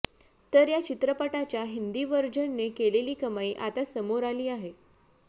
तर या चित्रपटाच्या हिंदी व्हर्जनने केलेली कमाई आता समोर आली आहे